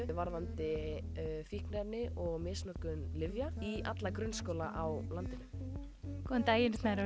varðandi fíkniefni og misnotkun lyfja í alla grunnskóla á landinu góðan daginn snærós